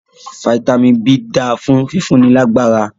Fitami B dáa fún fífúnni lágbára.